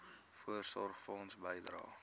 voorsorgfonds bydrae